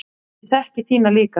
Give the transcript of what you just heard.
Ég þekki þína líka.